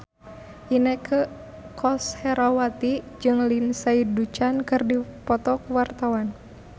Inneke Koesherawati jeung Lindsay Ducan keur dipoto ku wartawan